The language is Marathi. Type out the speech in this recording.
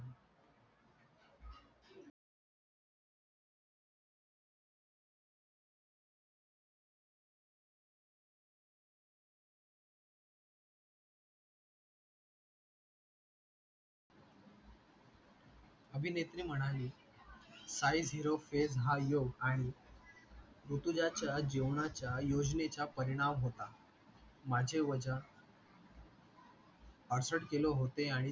अभिनेत्री म्हणाली डाएट झिरो पेड एम आणि ऋतुजाचा जेवणचा योजनेचा परिणाम होता माझे वजन पहासठ किलो होते आणि तिने मला